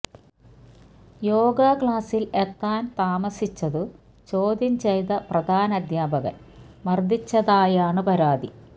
യോഗാ ക്ലാസിൽ എത്താൻ താമസിച്ചതു ചോദ്യം ചെയ്ത് പ്രധാനാധ്യാപകൻ മർദിച്ചതായാണു പരാതി